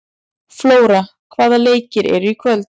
Flóra, hvaða leikir eru í kvöld?